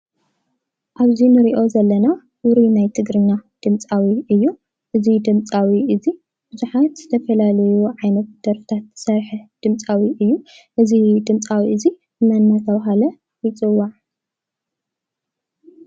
እዚ ንሪኦ ዘለና ውሩይ ናይ ትግርኛ ድምፃዊ እዩ፡፡ እዚ ድምፃዊ እዚ ብዙሓት ዝተፈላለዩ ዓይነት ደርፍታት ዝሰርሐ ድምፃዊ እዩ፡፡ እዚ ድምፃዊ እዚ መን እናተባህለ ይፅዋዕ?